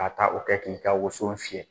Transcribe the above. Ka taa o kɛ k'i ka woso fiyɛ